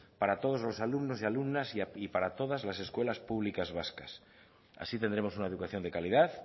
para todos los alumnos y alumnas y para todas las escuelas públicas vascas así tendremos una educación de calidad